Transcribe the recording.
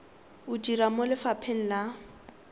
o dira mo lefapheng la